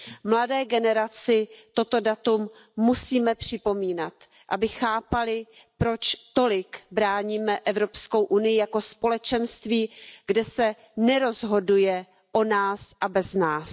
Mladé generaci toto datum musíme připomínat, aby chápali, proč tolik bráníme Evropskou unii jako společenství, kde se nerozhoduje o nás a bez nás.